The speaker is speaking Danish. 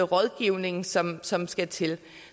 rådgivning som som skal til